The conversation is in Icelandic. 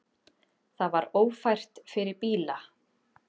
Það var ófært fyrir bíla.